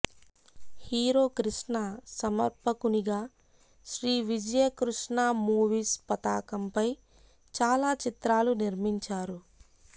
hero Krishna సమర్పకునిగా Sri Vijayakrishna movies పతాకంపై చాలా చిత్రాలు నిర్మించారు